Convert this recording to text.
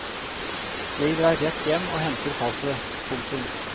Jeg drar rett hjem og henter passet. punktum